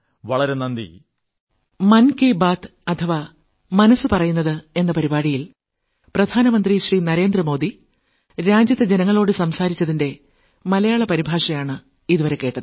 വളരെ വളരെ നന്ദി